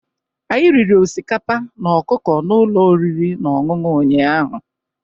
Anyị riri osikapa na ọkụkọ na ụlọ oriri na ọṅụṅụ ụnyaahụ.